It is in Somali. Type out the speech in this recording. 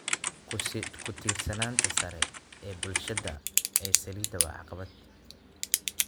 Ku tiirsanaanta sare ee bulshada ee saliidda waa caqabad.